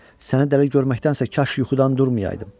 Səni dəli görməkdənsə kaş yuxudan durmayaydım.